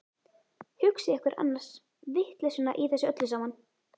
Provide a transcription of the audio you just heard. Hugsið ykkur annars vitleysuna í þessu öllu saman!